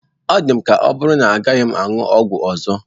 Ọ dị m ka ya bụrụ na agaghị m aṅụ ọgwụ ọzọ.